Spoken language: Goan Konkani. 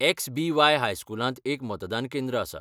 एक्स.बी.वाय. हायस्कुलांत एक मतदान केंद्र आसा.